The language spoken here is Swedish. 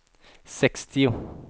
sextio